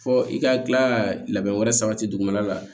Fɔ i ka tila ka labɛn wɛrɛ sabati dugumana la